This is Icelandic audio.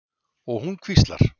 Og hún hvíslar.